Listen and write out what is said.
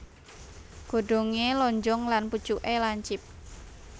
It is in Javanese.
Godhongé lonjong lan pucuké lancip